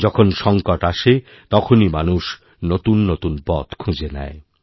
যখন সঙ্কট আসে তখনই মানুষ নতুন নতুন পথ খুঁজে নেয়